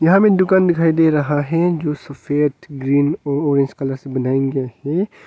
यहां में दुकान दिखाई दे रहा है जो सफेद ग्रीन व ऑरेंज कलर से बनाया गया है।